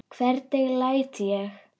Hvernig læt ég!